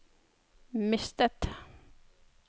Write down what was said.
mistet